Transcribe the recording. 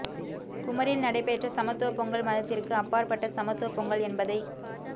குமரியில் நடைபெற்ற சமத்துவ பொங்கல் மதத்திற்கு அப்பாற்பட்ட சமத்துவ பொங்கல் என்பதை